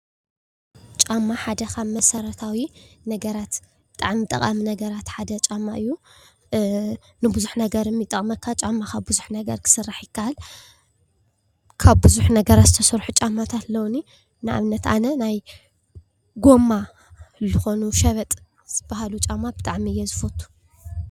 ጫማ ሓደ ካብ መሰረታዊ ነገራት ብጣዕሚ ጠቃሚ ነገራት ሓደ ጫማ እዩ፡፡ ንቡዙሕ ነገር እውን ይጠቅመካ ጫማ ካብ ቡዙሕ ነገር ክስራሕ ይካኣል፡፡ ካብ ቡዙሕ ነገራት ዝተሰርሑ ጫማታት ኣለዉኒ ፡፡ ንኣብነት ኣነ ናይ ጎማ ዝኮኑ ሸበጥ ዝበሃሉ ብጣዕሚ እየ ዝፎቱ፡፡